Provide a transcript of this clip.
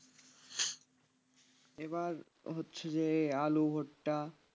এবার হচ্ছে যে আলু ভুট্টা,